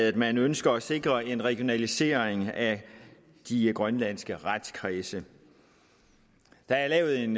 at man ønsker at sikre en regionalisering af de grønlandske retskredse der er lavet en